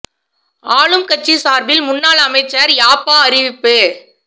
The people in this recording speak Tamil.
ஆளும் கட்சி சார்பில் முன்னாள் அமைச்சர் யாப்பா தெரிவிப்பு்